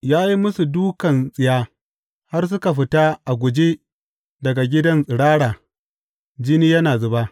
Ya yi musu dūkan tsiya har suka fita a guje daga gidan tsirara jini yana zuba.